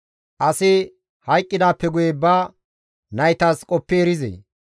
Asi hayqqidaappe guye ba naytas qoppi erizee?